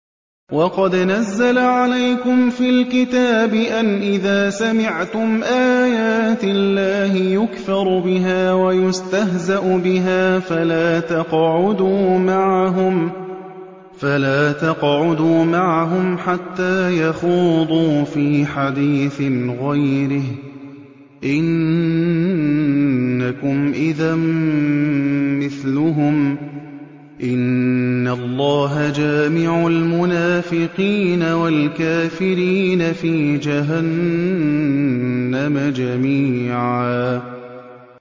وَقَدْ نَزَّلَ عَلَيْكُمْ فِي الْكِتَابِ أَنْ إِذَا سَمِعْتُمْ آيَاتِ اللَّهِ يُكْفَرُ بِهَا وَيُسْتَهْزَأُ بِهَا فَلَا تَقْعُدُوا مَعَهُمْ حَتَّىٰ يَخُوضُوا فِي حَدِيثٍ غَيْرِهِ ۚ إِنَّكُمْ إِذًا مِّثْلُهُمْ ۗ إِنَّ اللَّهَ جَامِعُ الْمُنَافِقِينَ وَالْكَافِرِينَ فِي جَهَنَّمَ جَمِيعًا